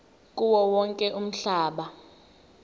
kuwo wonke umhlaba